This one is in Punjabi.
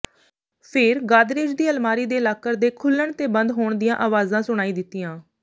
ਫੇਰ ਗਾਦਰੇਜ ਦੀ ਅਲਮਾਰੀ ਦੇ ਲਾਕਰ ਦੇ ਖੁੱਲ੍ਹਣ ਤੇ ਬੰਦ ਹੋਣ ਦੀਆਂ ਆਵਾਜ਼ਾਂ ਸੁਣਾਈ ਦਿੱਤੀਆਂ